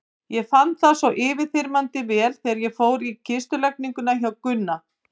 Ég fann það svo yfirþyrmandi vel þegar ég fór í kistulagninguna hjá Gunna.